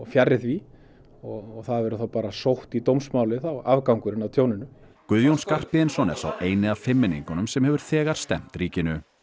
fjarri því og það verður þá bara sótt í dómsmálinu afgangurinn af tjóninu Guðjón Skarphéðinsson er sá eini af fimmmenningunum sem hefur þegar stefnt ríkinu